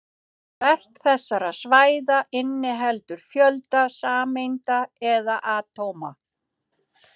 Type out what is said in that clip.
Hvert þessara svæða inniheldur fjölda sameinda eða atóma.